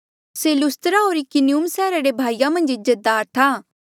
से लुस्त्रा होर इकुनियुम सैहरा रे भाईया मन्झ इज्जतदार था